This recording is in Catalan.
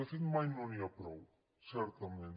de fet mai no n’hi ha prou certament